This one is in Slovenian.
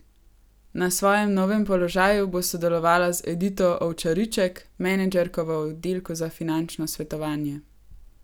Na svojem novem položaju bo sodelovala z Edito Ovčariček, menedžerko v oddelku za finančno svetovanje.